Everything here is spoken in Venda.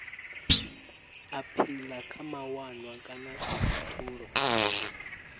aphila kha mawanwa kana khathulo